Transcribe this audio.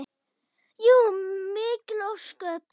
Jú, mikil ósköp.